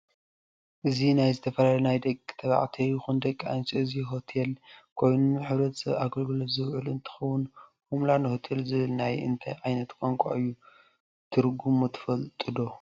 እዚ ናይዝተፈላላ ናይ ደቂ ተባዕትዩ ይኩን ደቂ ኣንስትዮ እዚ ሆትል ኮይኑ ንሕተሰብ ኣገልግሎት ዝውዕል እንትከውን ሆም ላንድ ሆቴል ዝብል ናይ እንታይ ዓይነት ቋንቋ እዩ ትርሙ ትፍልጥዶ?